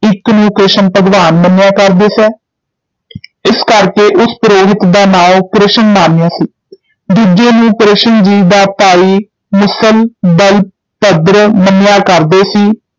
ਇੱਕ ਨੂੰ ਕ੍ਰਿਸ਼ਨ ਭਗਵਾਨ ਮੰਨਿਆ ਕਰਦੇ ਸੇ ਇਸ ਕਰਕੇ ਉਸ ਪੁਰੋਹਿਤ ਦਾ ਨਾਉਂ ਕ੍ਰਿਸ਼ਨ ਮਾਨਯ ਸੀ ਦੂਜੇ ਨੂੰ ਕ੍ਰਿਸ਼ਨ ਜੀ ਦਾ ਭਾਈ ਮੁਸਲ ਬਲਭਦ੍ਰ ਮੰਨਿਆ ਕਰਦਾ ਸੀ,